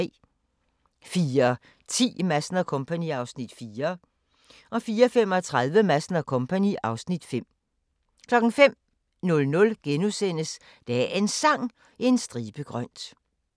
04:10: Madsen & Co. (Afs. 4) 04:35: Madsen & Co. (Afs. 5) 05:00: Dagens Sang: En stribe grønt *